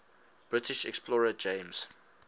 british explorer james